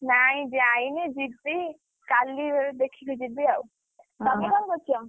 ନାଇଁ ଯାଇନି ଯିବି, କାଲି ଦେଖିକି ଯିବି ଆଉ, ତମେ କଣ କରୁଛ?